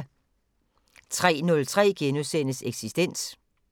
03:03: Eksistens * 04:03: Europa lige nu *